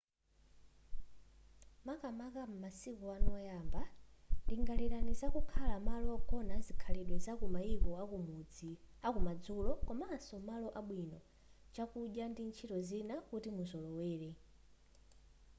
makamaka m'masiku anu oyamba lingalirani za kukhala malo ogona azikhalidwe zaku maiko akumadzulo komanso malo abwino chakudya ndi ntchito zina kuti muzolowere